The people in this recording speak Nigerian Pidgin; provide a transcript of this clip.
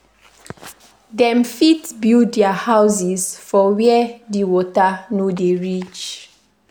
Dem fit build their houses for where di water no dey reach